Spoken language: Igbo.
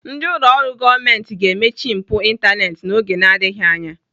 Ndị ụlọ ọrụ gọọmenti ga-emechi mpu ịntaneetị n'oge na-adịghị anya.